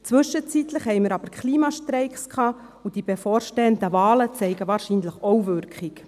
Zwischenzeitlich gab es jedoch Klimastreiks, und die bevorstehenden Wahlen zeigen wahrscheinlich auch Wirkung.